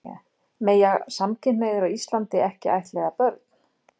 Mega samkynhneigðir á Íslandi ekki ættleiða börn?